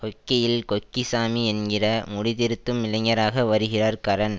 ஹொக்கியில் கொக்கிசாமி என்கிற முடிதிருத்தும் இளைஞராக வருகிறார் கரண்